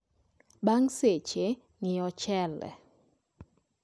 Bang' seche, ng'ii ochele